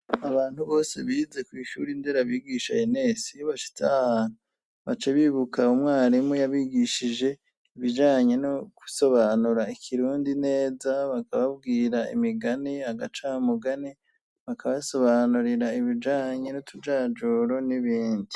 Abantu bose bize kwishuri nderabigisha enesi bashitse ahantu baca bibuka umwarimu yabigishije ibijanye no gusobanura ikirundi neza bakababwira imigani agacamugani bakabasobanurira ibijanye nutujajuro n'ibindi.